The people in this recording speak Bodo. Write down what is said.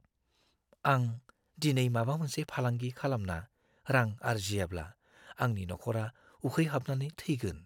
आं दिनै माबा मोनसे फालांगि खालामना रां आर्जियाब्ला आंनि नखरा उखैहाबनानै थैगोन।